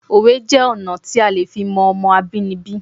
Òwe jẹ́ ọ̀nà tí a lè fi mọ Ọmọ abínibí